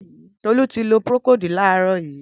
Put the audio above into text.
Tolu ti ló prókód làrọ̀ yi